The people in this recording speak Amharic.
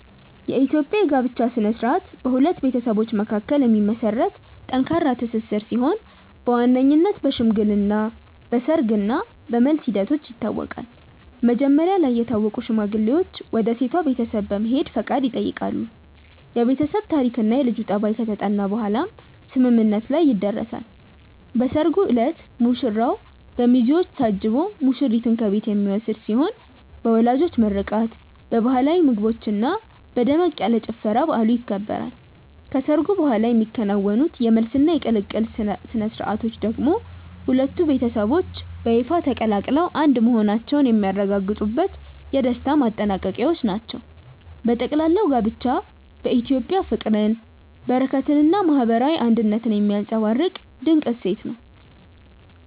የኢትዮጵያ የጋብቻ ሥነ ሥርዓት በሁለት ቤተሰቦች መካከል የሚመሰረት ጠንካራ ትስስር ሲሆን በዋነኝነት በሽምግልና፣ በሰርግ እና በመልስ ሂደቶች ይታወቃል። መጀመሪያ ላይ የታወቁ ሽማግሌዎች ወደ ሴቷ ቤተሰብ በመሄድ ፈቃድ ይጠይቃሉ፤ የቤተሰብ ታሪክና የልጁ ጠባይ ከተጠና በኋላም ስምምነት ላይ ይደረሳል። በሰርጉ ዕለት ሙሽራው በሚዜዎች ታጅቦ ሙሽሪትን ከቤት የሚወስድ ሲሆን በወላጆች ምርቃት፣ በባህላዊ ምግቦችና በደመቅ ያለ ጭፈራ በዓሉ ይከበራል። ከሰርጉ በኋላ የሚከናወኑት የመልስና የቅልቅል ሥነ ሥርዓቶች ደግሞ ሁለቱ ቤተሰቦች በይፋ ተቀላቅለው አንድ መሆናቸውን የሚያረጋግጡበት የደስታ ማጠናቀቂያዎች ናቸው። በጠቅላላው ጋብቻ በኢትዮጵያ ፍቅርን፣ በረከትንና ማህበራዊ አንድነትን የሚያንፀባርቅ ድንቅ እሴት ነው።